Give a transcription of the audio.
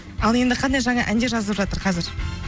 ал енді қандай жаңа әндер жазылып жатыр қазір